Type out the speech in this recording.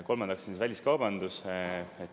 Kolmandaks, väliskaubandus.